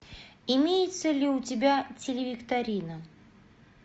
имеется ли у тебя телевикторина